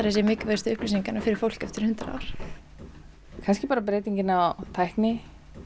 séu mikilvægustu upplýsingarnar fyrir fólk eftir hundrað ár kannski bara breytingin á tækni